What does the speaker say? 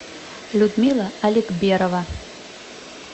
людмила алекберова